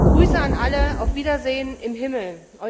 Grüße an alle, auf Wiedersehen im Himmel.